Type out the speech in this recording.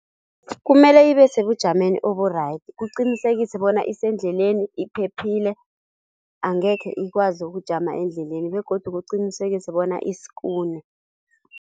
Kumele ibesebujameni obu-right kuqinisekise bona isendleleni, iphephile angekhe ikwazi ukujama endleleni begodu kuqinisekise bona iskune.